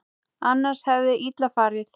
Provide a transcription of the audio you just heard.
Annars hefði illa farið.